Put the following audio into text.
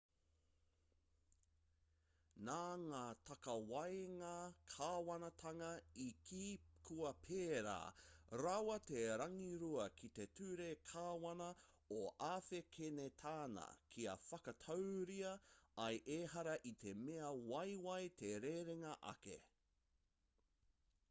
nā ngā takawaenga kāwanatanga i kī kua pērā rawa te rangirua ki te ture kāwana o āwhekenetāna kia whakatauria ai ehara i te mea waiwai te rerenga ake